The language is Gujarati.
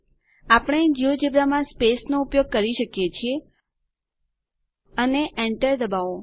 આપણે જિયોજેબ્રા માં સ્પેસ નો ઉપયોગ કરી શકીએ છીએ અને enter દબાવો